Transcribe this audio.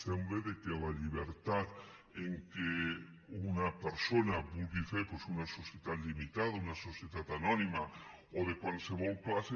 sembla que la llibertat amb què una persona vulgui fer doncs una societat limitada una societat anònima o de qualsevol classe